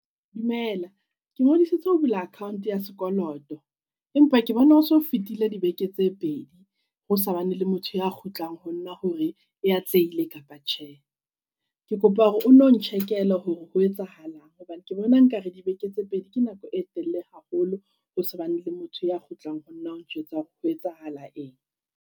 Dumela, ke ngodisitse ho bula account ya sekoloto. Empa ke bona ho so fetile dibeke tse pedi ho sa bane le motho ya kgutlang ho nna hore e atlehile kapa tjhe. Ke kopa hore o no ntjhekele hore ho etsahalang. Hobane ke bona nka re dibeke tse pedi ke nako e telele haholo, hosa bane le motho ya kgutlang honna ho njwetsa hore ho etsahala eng.